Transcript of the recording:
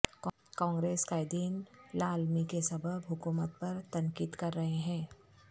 کانگریس قائدین لاعلمی کے سبب حکومت پر تنقید کرر ہے ہیں